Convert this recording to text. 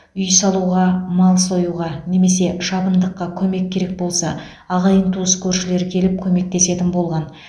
үй салуға мал союға немесе шабындыққа көмек керек болса ағайын туыс көршілер келіп көмектесетін болған